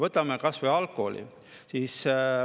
Võtame kas või alkoholi.